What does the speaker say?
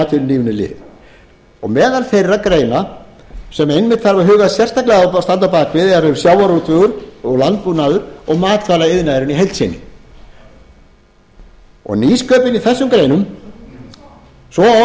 atvinnulífinu lið meðal þeirra greina sem einmitt þarf að huga sérstaklega á að standa á bak við er sjávarútvegur og landbúnaður og matvælaiðnaðurinn í heild sinni nýsköpun í þessum greinum svo og